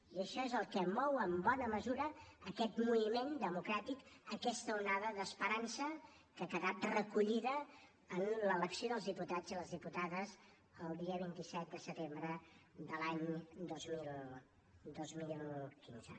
i això és el que mou en bona mesura aquest moviment democràtic aquesta onada d’esperança que ha quedat recollida en l’elecció dels diputats i les diputades el dia vint set de setembre de l’any dos mil quinze